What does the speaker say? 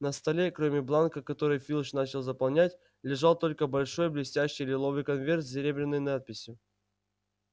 на столе кроме бланка который филч начал заполнять лежал только большой блестящий лиловый конверт с серебряной надписью